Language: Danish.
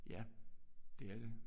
Ja det er det